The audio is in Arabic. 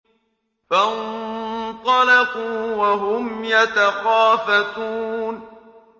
فَانطَلَقُوا وَهُمْ يَتَخَافَتُونَ